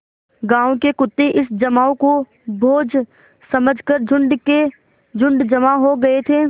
गाँव के कुत्ते इस जमाव को भोज समझ कर झुंड के झुंड जमा हो गये थे